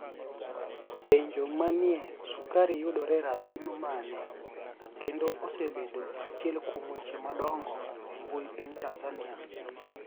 Penijo maniiye sukari yudore erapim mani e kenido osebedo achiel kuom weche madonigo embuyi piniy tanizaniia